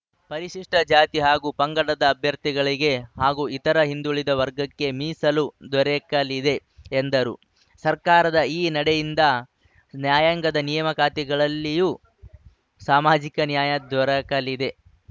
ಪರಿಶಿಷ್ಟಜಾತಿ ಹಾಗೂ ಪಂಗಡದ ಅಭ್ಯರ್ಥಿಗಳಿಗೆ ಹಾಗೂ ಇತರ ಹಿಂದುಳಿದ ವರ್ಗಕ್ಕೆ ಮೀಸಲು ದೊರಕಲಿದೆ ಎಂದರು ಸರ್ಕಾರದ ಈ ನಡೆಯಿಂದ ನ್ಯಾಯಾಂಗದ ನೇಮಕಾತಿಗಳಲ್ಲೂ ಸಾಮಾಜಿಕ ನ್ಯಾಯ ದೊರಕಲಿದೆ